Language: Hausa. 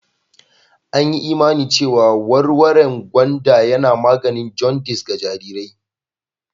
An yi imani cewa warwaren gwanda yana maganin jaundice a' jarirai.